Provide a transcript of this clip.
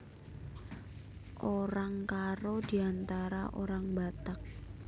Orang Karo Diantara Orang Batak